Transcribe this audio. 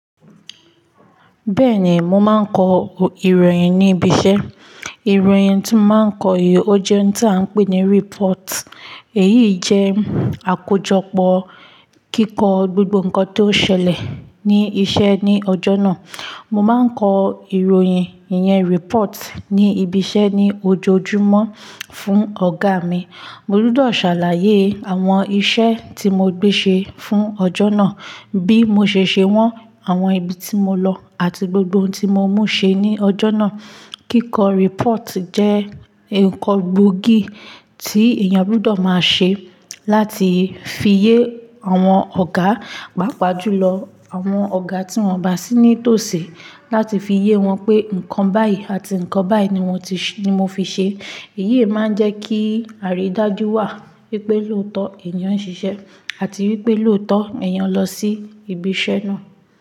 Bẹ́ẹ̀ni, mo máa ń kọ ìròyìn ní ibi iṣẹ́. Ìròyìn tí mo máa ń kọ yìí ó jẹ́ ohun tí a ń pè ní report. Èyí jẹ́ àkójọpọ̀ kíkọ gbogbo nǹkan tó ṣẹlẹ̀ ní isẹ́ ní ọjọ́ náà. Mo má ń kọ ìròyìn ìyẹn report ní ibi iṣẹ́ ní ojoojúmọ́ fún ọ̀gá mi. Mo gbọdọ̀ ṣàlàyé àwọn iṣẹ́ tí mo gbé ṣe fún ọjọ́ náà, bí mo ṣe ṣe wọ́n, àwọn ibi tí mo lọ àti gbogbo ohun tí mo mú ṣe ní ọjọ́ náà. Kíkọ report jẹ́ nǹkan gbóògì tí èèyàn gbọdọ̀ máa ṣe láti fi yé àwọn ọ̀gá, pàápàá jùlọ àwọn ọ̀gá tí wọ́n bá sí ní tòṣè láti fi yé wọn pé nǹkan báyìí àti nǹkan báyìí ni wọn ti-- ni mo fi ṣe. Èyí máa ń jẹ́ kí àrídájú wà wípé lóòótọ́ èèyàn ń ṣiṣẹ́ àti wípé lóòótọ́ èèyàn lọ sí ibi iṣẹ́ náà.